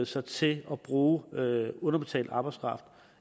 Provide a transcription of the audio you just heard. sig til at bruge underbetalt arbejdskraft